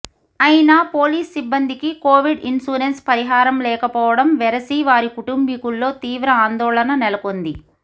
అయినా పోలీస్ సిబ్బందికి Covid insurance పరిహారం లేక పోవడం వెరసి వారి కుటుంబీకుల్లో తీవ్ర ఆందోళన నెల కొంది